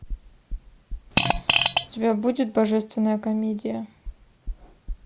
у тебя будет божественная комедия